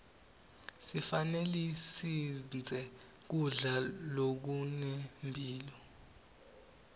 sifanelesidle kudla zokunemphilo